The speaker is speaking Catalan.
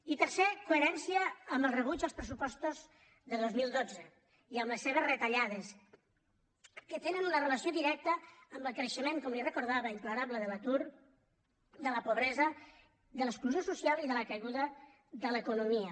i tercer coherència amb el rebuig als pressupostos de dos mil dotze i a les seves retallades que tenen una relació directa amb el creixement com li recordava imparable de l’atur de la pobresa de l’exclusió social i de la caiguda de l’economia